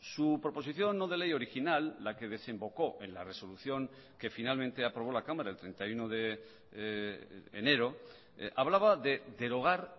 su proposición no de ley original la que desembocó en la resolución que finalmente aprobó la cámara el treinta y uno de enero hablaba de derogar